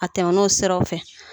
A tɛmɛn'o siraw fɛ.